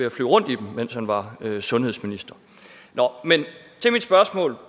at flyve rundt i dem mens han var sundhedsminister nå men mit spørgsmål